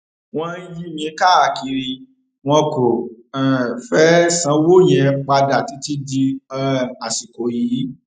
wọn ń yí mi káàkiri wọn kò um fẹẹ sanwó yẹn padà títí di um àsìkò yìí